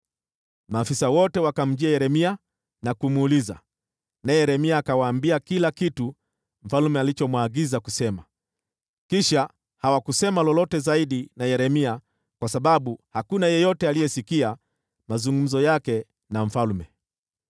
Maafisa wote wakamjia Yeremia na kumuuliza, naye Yeremia akawaambia kila kitu mfalme alichomwagiza kusema. Kisha hawakusema lolote zaidi na Yeremia kwa sababu hakuna yeyote aliyesikia mazungumzo yake na mfalme.